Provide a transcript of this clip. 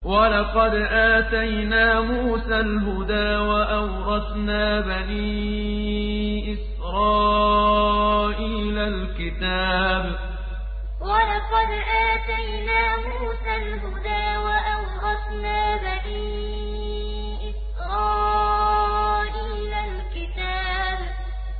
وَلَقَدْ آتَيْنَا مُوسَى الْهُدَىٰ وَأَوْرَثْنَا بَنِي إِسْرَائِيلَ الْكِتَابَ وَلَقَدْ آتَيْنَا مُوسَى الْهُدَىٰ وَأَوْرَثْنَا بَنِي إِسْرَائِيلَ الْكِتَابَ